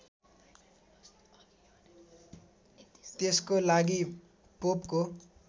त्यसको लागि पोपको